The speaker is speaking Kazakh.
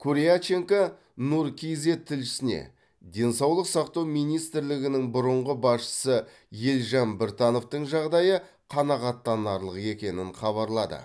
куряченко нұр кизед тілшісіне денсаулық сақтау министрлігінің бұрынғы басшысы елжан біртановтың жағдайы қанағаттанарлық екенін хабарлады